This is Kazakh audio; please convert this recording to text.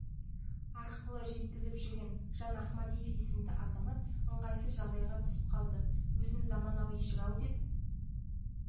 арқылы жеткізіп жүрген жан ахмадиев есімді азамат ыңғайсыз жағдайға түсіп қалды өзін заманауи жырау деп